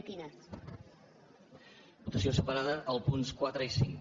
votació separada dels punts quatre i cinc